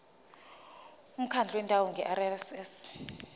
umkhandlu wendawo ngerss